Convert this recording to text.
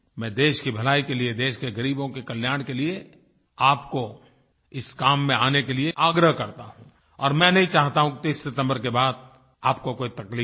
मैं देश की भलाई के लिये देश के गरीबों के कल्याण के लिये आपको इस काम में आने के लिए आग्रह करता हूँ और मैं नही चाहता हूँ कि 30 सितम्बर के बाद आपको कोई तकलीफ़ हो